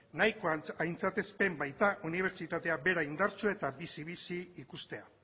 nahikoa aintzatespen baita unibertsitatea bera indartsua eta bizi bizi ikustea